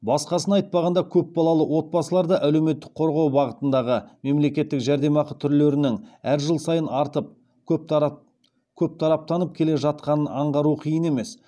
басқасын айтпағанда көп балалы отбасыларды әлеуметтік қорғау бағытындағы мемлекеттік жәрдемақы түрлерінің әр жыл сайын артып көптараптанып келе жатқанын аңғару қиын емес